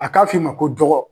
A k'a f'i ma ko dɔgɔ